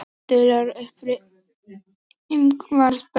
Dularfullur uppruni Ingmars Bergman